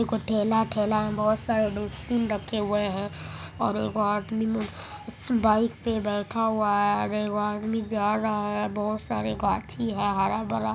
ठेला में बहुत सारे डस्टबिन रखे हुए है और एगो आदमी इस बाइक पे बैठा हुआ है अरे वो आदमी जा रहा है बहुत सारे गाछी है। हरा-भरा ----